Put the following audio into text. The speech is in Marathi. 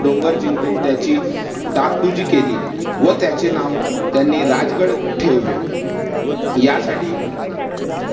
डोंगर जिंकून त्याची डागडुजी केली व त्याचे नाव त्यांनी राजगड ठेवले. यासाठी